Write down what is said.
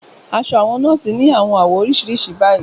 Aṣọ awọn nọọsi ni awọn awọ oriṣiriṣi bayi